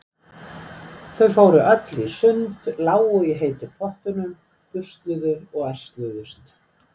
Þau fóru öll í sund, lágu í heitu pottunum, busluðu og ærsluðust.